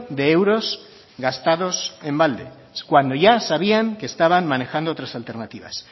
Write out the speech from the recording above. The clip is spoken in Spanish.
de euros gastados en balde cuando ya sabían que estaban manejando otras alternativas